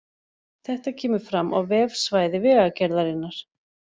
Þetta kemur fram á vefsvæði Vegagerðarinnar